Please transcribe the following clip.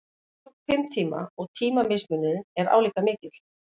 Flugið tók fimm tíma og tímamismunurinn er álíka mikill